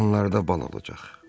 Bu yaxınlarda bal olacaq.